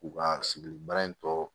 K'u ka sigili baara in kɛ